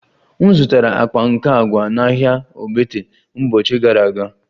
M zụtara akpa nke agwa na ahịa ogbete mbochi gara aga